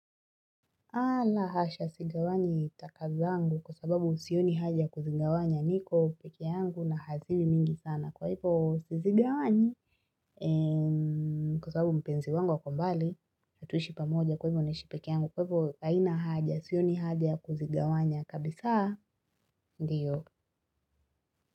Ala hasha, sigawani taka zangu kwa sababu sioni haja kuzigawanya, niko peke yangu na haziwi mingi sana, kwa hivyo sizigawanyi Kwa sababu mpenzi wangu ako mbali, hatushi pamoja kwa hivyo naishi peke yangu, kwa hivyo haina haja, sioni haja ya kuzigawanya kabisa, ndiyo.